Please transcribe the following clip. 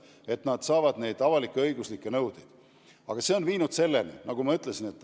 Nemad saavadki vaid avalik-õiguslikke nõudeid.